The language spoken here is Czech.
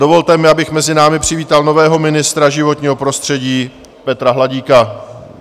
Dovolte mi, abych mezi námi přivítal nového ministra životního prostředí Petra Hladíka.